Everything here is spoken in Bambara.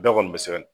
Bɛɛ kɔni bɛ sɛgɛn